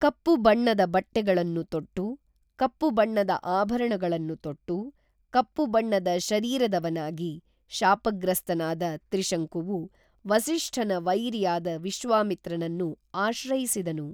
ಕಪ್ಪು ಬಣ್ಣದ ಬಟ್ಟೆಗಳನ್ನು ತೊಟ್ಟು, ಕಪ್ಪು ಬಣ್ಣದ ಆಭರಣಗಳನ್ನು ತೊಟ್ಟು, ಕಪ್ಪು ಬಣ್ಣದ ಶರೀರದವನಾಗಿ, ಶಾಪಗ್ರಸ್ತನಾದ ತ್ರಿಶಂಕುವು ವಸಿಷ್ಠನ ವೈರಿಯಾದ ವಿಶ್ವಾಮಿತ್ರನನ್ನು ಆಶ್ರಯಿಸಿದನು